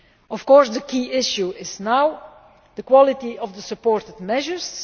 Of course the key issue is now the quality of the supported measures.